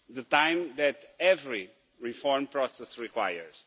the time that every reform process requires.